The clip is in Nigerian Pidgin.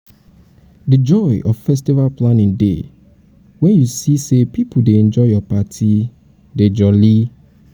di joy of festival planning dey um wen u see um see um say pipo dey enjoy ur party um dey jolly.